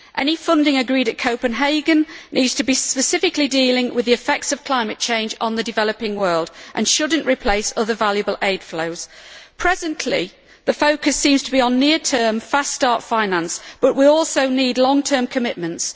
Any funding agreed at Copenhagen needs to deal specifically with the effects of climate change on the developing world and should not replace other valuable aid flows. Presently, the focus seems to be on near term, fast start finance, but we also need long term commitments.